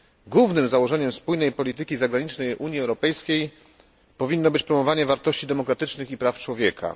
Głównym założeniem spójnej polityki zagranicznej Unii Europejskiej powinno być promowanie wartości demokratycznych i praw człowieka.